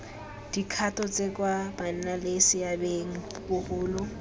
dikgato tse kwa bannaleseabeng bagolo